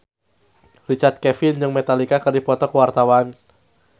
Richard Kevin jeung Metallica keur dipoto ku wartawan